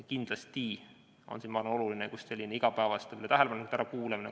Kindlasti on siin oluline just selline igapäevaste tähelepanekute ärakuulamine.